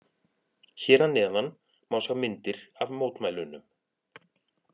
Hér að neðan má sjá myndir af mótmælunum.